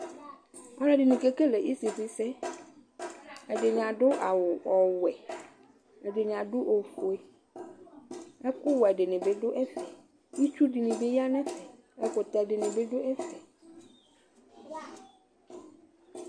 Alʋɛdini kekele isifisɛ ɛdini adʋ awʋ ɔwɛ ɛdini adʋ ofue ɛkʋwɛ dini bi dʋ ɛfɛ itsu dini bi ya nʋ ɛfɛ ɛkʋtɛ dini bi dʋ ɛfɛ